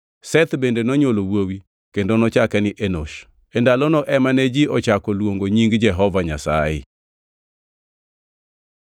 Seth bende nonywolo wuowi, kendo nochake ni Enosh. E ndalono ema ne ji ochako luongo nying Jehova Nyasaye.